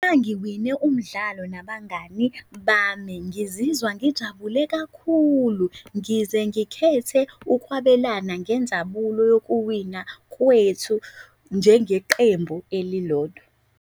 Ngiwine umdlalo nabangani bami, ngizizwa ngijabule kakhulu ngize ngikhethe ukwabelana ngenjabuko yokuwina kwethu njengeqembu elilodwa.